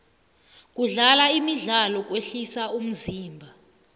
kudlala imidlalo kwehlisa umzimba